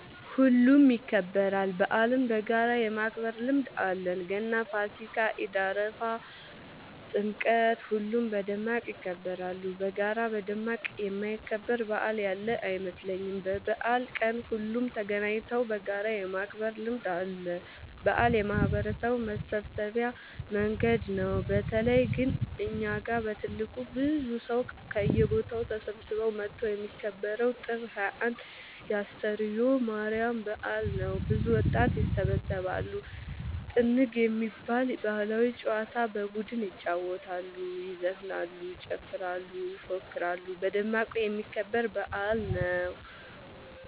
ሁሉም ይከበራል። በአልን በጋራ የማክበር ልምድ አለን ገና ፋሲካ ኢድ አረፋ ጥምቀት ሁሉም በደማቅ ይከበራሉ። በጋራ በደማቅ የማይከበር በአል ያለ አይመስለኝም። በበአል ቀን ሁሉም ተገናኘተው በጋራ የማክበር ልምድ አለ። በአል የማህበረሰቡ መሰብሰቢያ መንገድ ነው። በተለይ ግን እኛ ጋ በትልቁ ብዙ ሰው ከየቦታው ተሰብስበው መተው የሚከበረው ጥር 21 የ አስተርዮ ማርያም በአል ነው። ብዙ ወጣት ይሰባሰባሉ። ጥንግ የሚባል ባህላዊ ጨዋታ በቡድን ይጫወታሉ ይዘፍናሉ ይጨፍራሉ ይፎክራሉ በደማቁ የሚከበር በአል ነው።